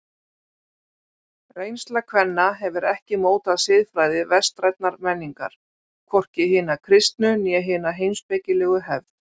Reynsla kvenna hefur ekki mótað siðfræði vestrænnar menningar, hvorki hina kristnu né hina heimspekilegu hefð.